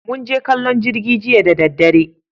Mun je kallon jirgi jiya da daddare